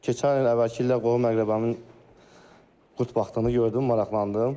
Keçən il əvvəlki illər qohum-əqrabamın qurd baxtını gördüm, maraqlandım.